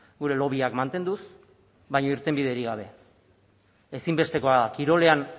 gure lobbyak mantenduz baina irtenbiderik gabe ezinbestekoa da kirolean